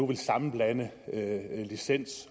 ville sammenblande licens